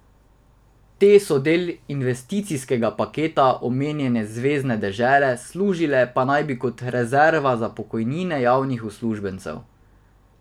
Te so del investicijskega paketa omenjene zvezne dežele, služile pa naj bi kot rezerva za pokojnine javnih uslužbencev.